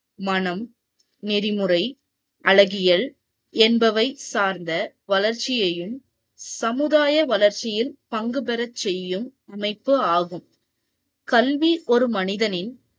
மனம், நெறிமுறை அழகியல் என்பவை சார்த்த வளர்ச்சியையும் சமுதாய வளர்ச்சியில் பங்கு பெற செய்யும் அமைப்பு ஆகும் கல்வி ஒரு மனிதனின்